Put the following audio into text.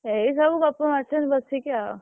ଏଇ ସବୁ ଗପ ମାରୁଛନ୍ତି ବସିକି ଆଉ।